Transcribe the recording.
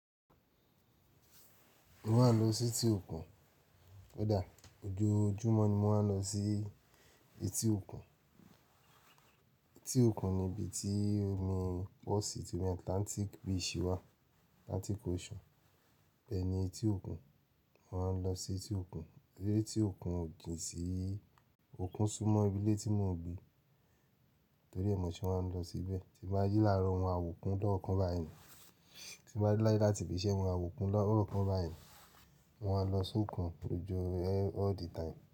Mo máa ń lọ sí etí òkun. Ko dà? Ojoojúmọ́ ni mo máa ń lọ sí etí òkun. Etí òkun ni ibi tí omi pọ̀ sí, ti Atlantic beach ṣe wà, Atlantic Ocean. Bẹ́ẹ̀ ni etí òkun, mo máa ń lọ sí etí òkun. Lé etí òkun o jin sí òkun súnmọ́ ibi ilé tí mò ń gbé torí ẹ̀ mo se máa ń lọ síbẹ̀. Tí mo bá ji làárọ̀ maa ma wo okun lọ́kàn bá yii ni, tí mo bá de láale láti ibi iṣẹ́ maa ma wo okun lọ́kàn bá yii ni, mo máa lọ sókun all the time.